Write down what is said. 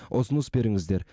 ұсыныс беріңіздер